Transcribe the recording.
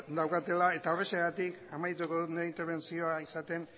daukatela horrexegatik amaituko dut nire interbentzioa esaten